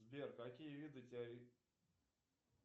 сбер какие виды